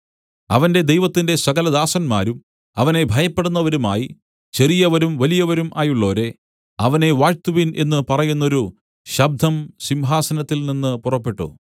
അവന്റെ ദൈവത്തിന്റെ സകലദാസന്മാരും അവനെ ഭയപ്പെടുന്നവരുമായി ചെറിയവരും വലിയവരും ആയുള്ളോരേ അവനെ വാഴ്ത്തുവിൻ എന്നു പറയുന്നൊരു ശബ്ദം സിംഹാസനത്തിൽ നിന്നു പുറപ്പെട്ടു